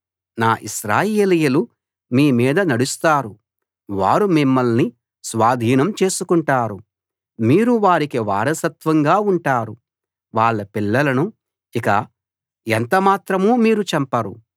నా ఇశ్రాయేలీయులు మీ మీద నడుస్తారు వారు మిమ్మల్ని స్వాధీనం చేసుకుంటారు మీరు వారికి వారసత్వంగా ఉంటారు వాళ్ళ పిల్లలను ఇక ఎంత మాత్రం మీరు చంపరు